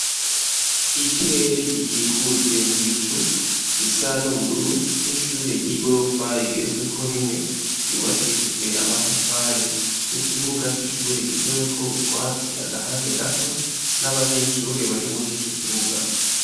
Ikirere gikikujwe n'ibicu gisa n'ubururu n'ishure ry'igorofa rigeretsweko rimwe ryubakishijwe amatafari n'ikibuga c'ishure giteweko utwatsi agahande gato n'abanyeshure bari muri ico kibuga.